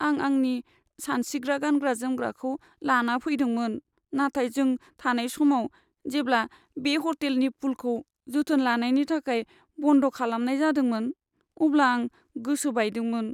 आं आंनि सानस्रिग्रा गानग्रा जोमग्राखौ लाना फैदोंमोन, नाथाय जों थानाय समाव जेब्ला बे ह'टेलनि पुलखौ जोथोन लानायनि थाखाय बन्द' खालामनाय जादोंमोन, अब्ला आं गोसो बायदोंमोन।